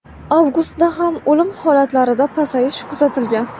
Avgustda ham o‘lim holatlarida pasayish kuzatilgan.